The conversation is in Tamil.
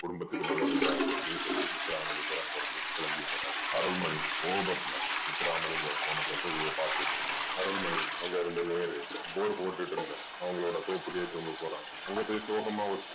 குடும்பத்துக்கு நல்லதில்ல அப்படீன்னு சொல்லி முத்துராமலிங்கம் அங்கருந்து கிளம்பி போறாரு. அருள்மணி கோபத்துல முத்துராமலிங்கம் போன திசையையே பாத்துட்டிருக்கிறான். அருள்மணி அங்கருந்து நேரா bore போட்டுட்டிருந்த அவங்களோட தோப்புக்கே தூங்க போனான். அங்க போய் சோகமா